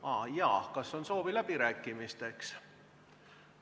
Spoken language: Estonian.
Ah jaa, kas on soovi läbirääkimisteks?